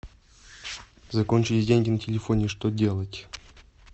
закончились деньги на телефоне что делать